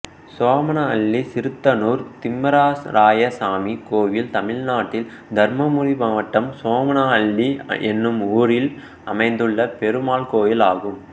சோமனஅள்ளி சிறுதனூர் திம்மராயசாமி கோயில் தமிழ்நாட்டில் தர்மபுரி மாவட்டம் சோமனஅள்ளி என்னும் ஊரில் அமைந்துள்ள பெருமாள் கோயிலாகும்